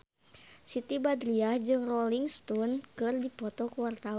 Siti Badriah jeung Rolling Stone keur dipoto ku wartawan